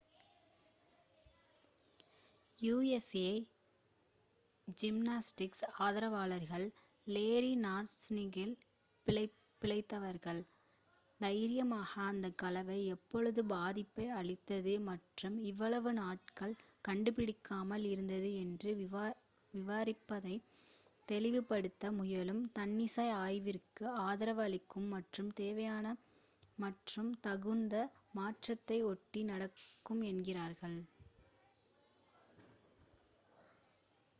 USA gymnastics ஆதரவாளர்கள் Larry நாஸரினால் பிழைத்தவர்கள் தைரியமாக அந்த கலவை எவ்வளவு பாதிப்பை அளித்தது மற்றும் இவ்வளவு நாட்கள் கண்டுபிடிக்கப்படாமல் இருந்தது என்று விவரிப்பதை தெளிவுபடுத்த முயலும் தன்னிச்சை ஆய்விற்கு ஆதரவு அளிக்கும் மற்றும் தேவையான மற்றும் தகுந்த மாற்றத்தை ஒட்டி நடக்கும் என்கின்றனர்